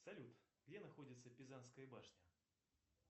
салют где находится пизанская башня